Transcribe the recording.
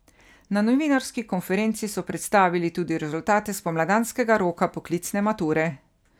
Na novinarski konferenci so predstavili tudi rezultate spomladanskega roka poklicne mature.